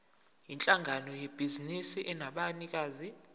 yinhlangano yebhizinisi enabanikazi